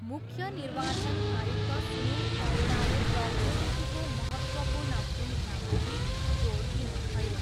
मुख्य निवाचन आयुक्त सुनिल अरोडाले प्रौद्योगिकीको महत्त्वपूर्ण भुमिकामाथि जोड दिनुभयो।